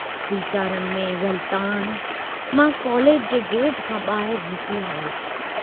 वीचारनि में ग़ल्तानु मां कॉलेज जे गेट खां बाहिर निकिरी आयुस।